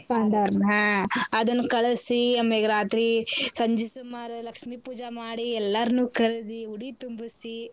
ಪಾಂಡವ್ರನ ಹಾ ಅದನ್ ಕಳಸಿ ಆಮ್ಯಾಗ್ ರಾತ್ರಿ ಸಂಜಿೀ ಸುಮಾರ್ ಲಕ್ಷ್ಮೀ ಪೂಜಾ ಮಾಡಿ ಎಲ್ಲಾರ್ನೂ ಕರ್ದಿ ಉಡಿ ತುಂಬಿಸಿ.